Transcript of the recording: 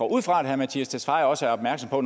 ud fra at herre mattias tesfaye også er opmærksom på